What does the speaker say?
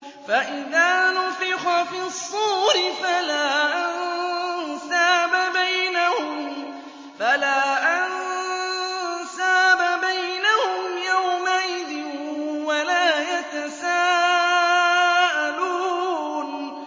فَإِذَا نُفِخَ فِي الصُّورِ فَلَا أَنسَابَ بَيْنَهُمْ يَوْمَئِذٍ وَلَا يَتَسَاءَلُونَ